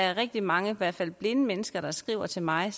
er rigtig mange i hvert fald blinde mennesker der skriver til mig